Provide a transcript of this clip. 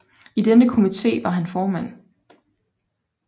I denne komité var han formand